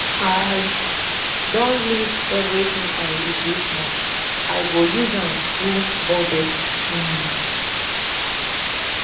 i don list everytin i need dis month i go use am do budget um